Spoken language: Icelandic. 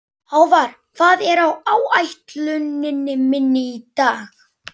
Hávarr, hvað er á áætluninni minni í dag?